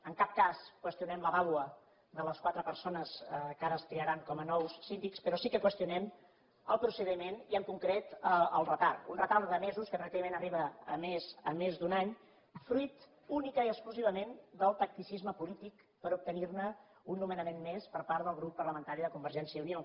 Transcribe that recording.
en cap cas qüestionem la vàlua de les quatre persones que ara es triaran com a nous síndics però sí que qüestionem el procediment i en concret el retard un retard de mesos que pràcticament arriba a més d’un any fruit únicament i exclusivament del tacticisme polític per obtenir un nomenament més per part del grup parlamentari de convergència i unió